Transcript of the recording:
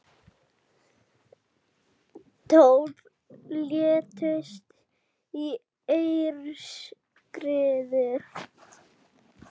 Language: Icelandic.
Tólf létust í aurskriðu